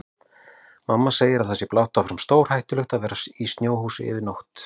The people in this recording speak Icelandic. Mamma segir að það sé blátt áfram stórhættulegt að vera í snjóhúsi yfir nótt.